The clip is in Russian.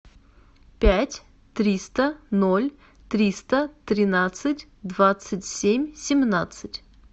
пять триста ноль триста тринадцать двадцать семь семнадцать